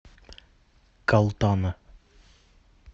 калтана